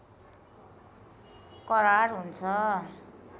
करार हुन्छ